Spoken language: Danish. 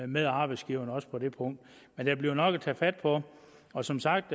med arbejdsgiverne også på det punkt men der bliver nok at tage fat på og som sagt